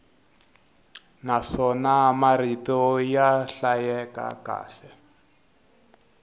naswona marito ya hlayeka kahle